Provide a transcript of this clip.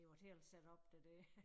Det jo et helt setup det der